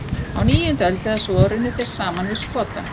Á níundu öld eða svo runnu þeir saman við Skota.